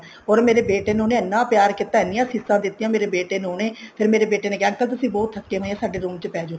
or ਮੇਰੇ ਬੇਟੇ ਨੂੰ ਉਹਨੇ ਇੰਨਾ ਪਿਆਰ ਕੀਤਾ ਇੰਨੀਆਂ ਅਸੀਸਾਂ ਦਿੱਤੀਆਂ ਮੇਰੇ ਬੇਟੇ ਨੂੰ ਉਹਨੇ ਫ਼ੇਰ ਮੇਰੇ ਬੇਟੇ ਨੇ ਕਿਹਾ uncle ਤੁਸੀਂ ਥੱਕੇ ਹੋਏ ਹੋ ਮੇਰੇ room ਚ ਪੈਜੋ